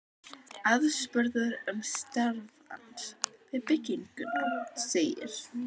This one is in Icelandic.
Aðspurður um starf hans við bygginguna, segir